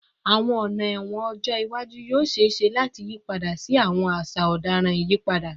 Awọn ọna ẹwọn ọjọ iwaju yoo ṣee ṣe lati yipada si awọn aṣa ọdaràn iyipada